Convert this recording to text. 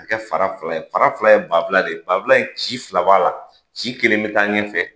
A kɛ fara fila ye, fara fila ye bafula de ye. Bafula in ci fila b'a la. Ci kelen bɛ taa ɲɛfɛ,